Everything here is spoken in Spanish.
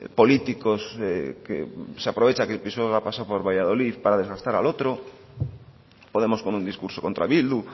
políticos que se aprovecha de que el pisuerga pasa por valladolid para desgastar al otro podemos con un discurso contra bildu